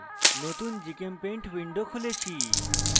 নতুন gchempaint window খুলেছি